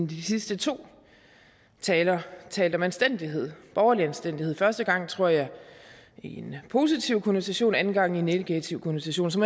de sidste to taler talt om anstændighed borgerlig anstændighed første gang tror jeg i en positiv konnotation anden gang i en negativ konnotation så